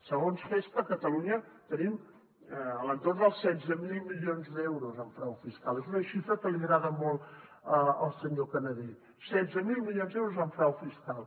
segons gestha a catalunya tenim a l’entorn dels setze mil milions d’euros en frau fiscal és una xifra que li agrada molt al senyor canadell setze mil milions d’euros en frau fiscal